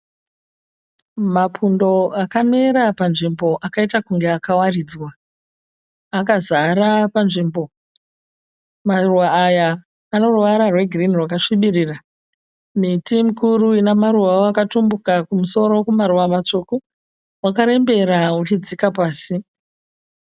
Mapundo akamera panzvimbo akaita kunge akawaridzwa. Akazara panzvimbo. Maruva aya ano ruvara rwegirini rwakasvibirira. Miti mikuru ina maruvawo akatumbuka kumusoro kumaruva matsvuku wakarembera uchidzika pasi.